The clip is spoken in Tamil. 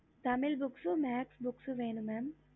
tamil books matsh books வேணும்